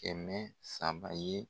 Kɛmɛ saba ye